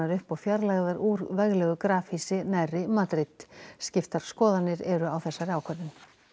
upp og fjarlægðar úr veglegu grafhýsi nærri Madrid skiptar skoðanir eru á þessari ákvörðun